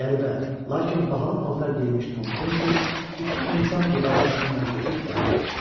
Qəribə, lakin bahalı paltar geyinmiş Tom Kensi iki insan divarı arasından keçib gəldi.